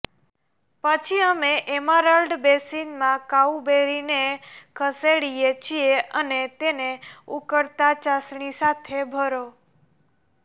પછી અમે એમેરાલ્ડ બેસિનમાં કાઉબેરીને ખસેડીએ છીએ અને તેને ઉકળતા ચાસણી સાથે ભરો